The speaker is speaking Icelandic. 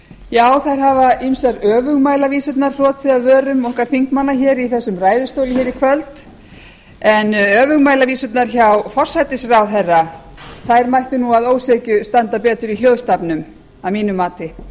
já þær hafa ýmsar öfugmælavísurnar hrotið af vörum okkar þingmanna hér í þessum ræðustól í kvöld en öfugmælavísurnar hjá forsætisráðherra þær mættu nú að ósekju standa betur í hljóðstafnum að mínu mati